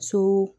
So